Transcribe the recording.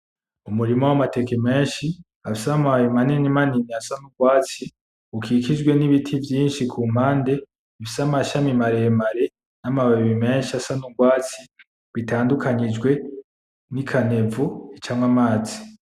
Umurima w'amateke menshi, afise amababi mani mani asa nk'urwatsi, rukikijwe ni biti vyinshi ku mpande bifise amashami mare mare na ma babi menshi asa n'urwatsi. Bitadunkanyijwe ni kanivo icamwo amazi.